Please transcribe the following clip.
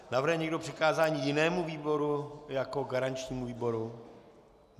Navrhuje někdo přikázání jinému výboru jako garančnímu výboru?